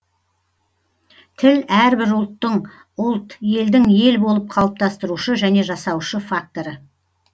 тіл әрбір ұлттың ұлт елдің ел болып қалыптастырушы және жасаушы факторы